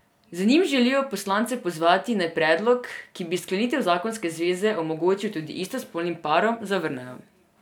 Z njim želijo poslance pozvati, naj predlog, ki bi sklenitev zakonske zveze omogočil tudi istospolnim parom, zavrnejo.